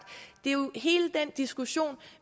det er jo hele den diskussion